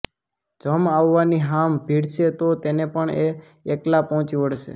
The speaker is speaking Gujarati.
જમ આવવાની હામ ભીડશે તો તેને પણ એ એકલાં પહોંચી વળશે